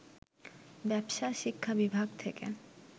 ব্যবসায় শিক্ষা বিভাগ থেকে